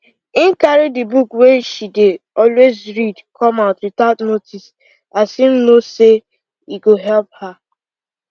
im carry the book wey she dey always read come out without notice as im know say e go help her